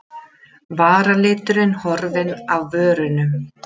Varaliturinn horfinn af vörunum.